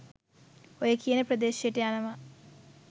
ඔය කියන ප්‍රදේශයට යනවා